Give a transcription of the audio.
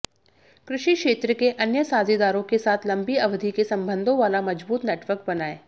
कृषि क्षेत्र के अन्य साझीदारों के साथ लंबी अवधि के सम्बंधों वाला मजबूत नेटवर्क बनाएं